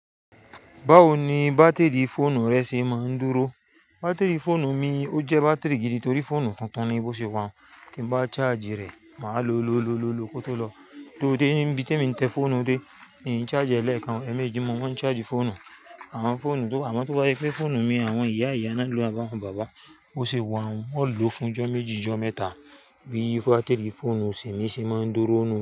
Báwo ni bátìrì fóònù rẹ ṣe máa ń dúró? Bátìrì fóònù mi ó jẹ́ bátìrì gidi torí fóònù tuntun ni bó ṣe wàá n Ki n bá charge rẹ̀, màá lo lo lo ló ko tó lọ. Lóde, níbi tí èmi ń tẹ fóònù dé, i charge rẹ̀ lẹ́ẹ̀kan, ẹmẹjì mo má ń charge fóònù. Àwọn fóònù tó bà, à mọ́ tó bá je pe fóònù mi, àwọn ìyá ìyá náà ló ń bá wọn bàbá. Ó ṣe wà un, won ó lò fún ijọ́ méjì, ijọ́ mẹ́ta. Bíi bátìrì fóònù temi é ṣe máa ń dúró nù.